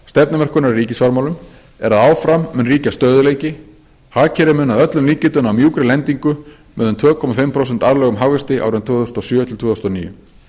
í ríkisfjármálum er að áfram mun ríkja stöðugleiki hagkerfið mun að öllum líkindum ná mjúkri lendingu með um tvö og hálft prósent árlegan hagvöxt árin tvö þúsund og sjö til tvö þúsund og níu